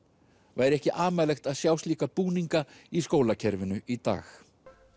væri ekki amalegt að sjá slíka búninga í skólakerfinu í dag